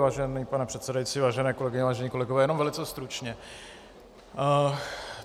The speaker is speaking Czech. Vážený pane předsedající, vážené kolegyně, vážení kolegové, jenom velice stručně.